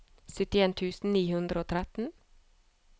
syttien tusen ni hundre og tretten